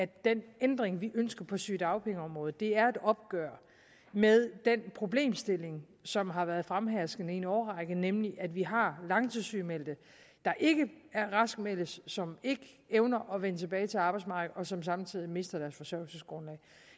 den ændring vi ønsker på sygedagpengeområdet er et opgør med den problemstilling som har været fremherskende i en årrække nemlig at vi har langtidssygemeldte der ikke raskmeldes som ikke evner at vende tilbage til arbejdsmarkedet og som samtidig mister deres forsørgelsesgrundlag